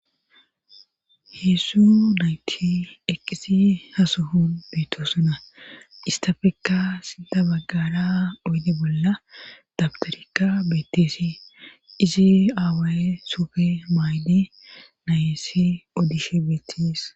Heessu nayti eqqisi hasuhun beetosuna istafekka sida baggara oyde bolla dabtorika beetteesi izi aawaye sufe maaydi nayessi oodishe beettis.